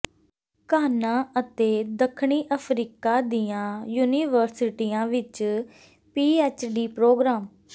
Ghana ਅਤੇ ਦੱਖਣੀ Africa ਦੀਆਂ ਯੂਨੀਵਰਸਿਟੀਆਂ ਵਿੱਚ ਪੀਐਚਡੀ ਪ੍ਰੋਗਰਾਮ